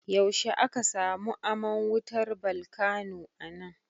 Yaushe aka samu aman wutar balkano anan?